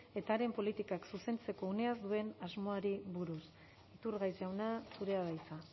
eta haren politikak zuzentzeko uneaz duen asmoari buruz iturgaiz jauna zurea da hitza